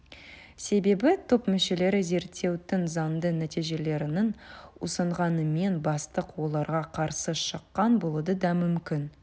себебі топ мүшелері зерттеудің заңды нәтижелерін ұсынғанымен бастық оларға қарсы шыққан болуы да мүмкін